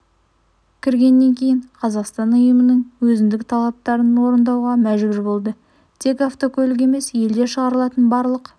кіргеннен кейін қазақстан ұйымның өзіндік талаптарын орындауға мәжбүр болды тек автокөлік емес елде шығарылатын барлық